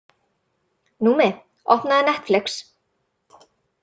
Númi, opnaðu Netflix.